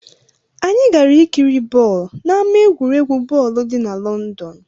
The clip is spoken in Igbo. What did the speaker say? Anyị gara ikiri bọọlụ n'ámá egwuregwu bọọlụ dị na Lọndọn.